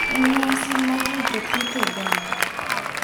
En nyasi mar rito kit oganda,